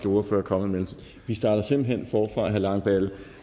ordfører er kommet i vi starter simpelt hen forfra langballe